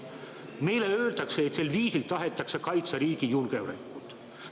Meile öeldakse, et sel viisil tahetakse kaitsta riigi julgeolekut.